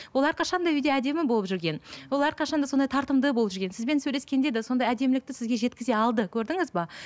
олар әрқашан да үйде әдемі болып жүрген ол әрқашан да сондай тартымды болып жүрген сізбен сөйлескенде де сондай әдемілікті сізге жеткізе алды көрдіңіз бе